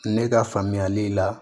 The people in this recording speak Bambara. Ne ka faamuyali la